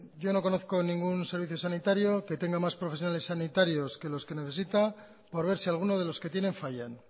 yo no conozco ningún servicio sanitario que tenga más profesionales sanitarios que los que necesita por ver si alguno de los que tienen fallan